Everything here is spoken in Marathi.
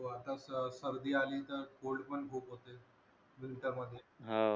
हो आताच सर्दी अली तर कोल्ड पण खूप होते